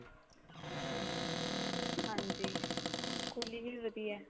ਹਾਂਜੀ ਕੋਹਲੀ ਵੀ ਵਧੀਆ